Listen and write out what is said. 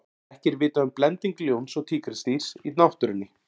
ekki er vitað um blending ljóns og tígrisdýrs í náttúrunni